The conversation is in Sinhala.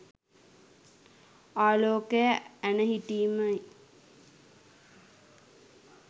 ආලෝකය ඇන හිටීම යි.